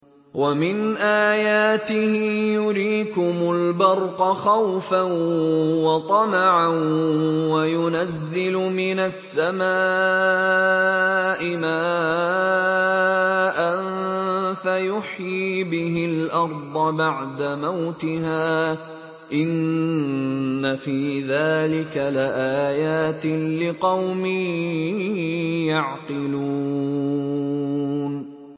وَمِنْ آيَاتِهِ يُرِيكُمُ الْبَرْقَ خَوْفًا وَطَمَعًا وَيُنَزِّلُ مِنَ السَّمَاءِ مَاءً فَيُحْيِي بِهِ الْأَرْضَ بَعْدَ مَوْتِهَا ۚ إِنَّ فِي ذَٰلِكَ لَآيَاتٍ لِّقَوْمٍ يَعْقِلُونَ